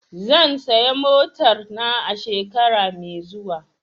Zan saya motar na a shekara mai zuwa.